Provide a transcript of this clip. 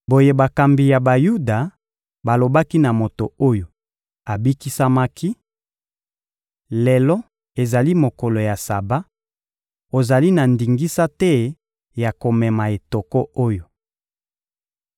Boye, bakambi ya Bayuda balobaki na moto oyo abikisamaki: — Lelo ezali mokolo ya Saba; ozali na ndingisa te ya komema etoko oyo.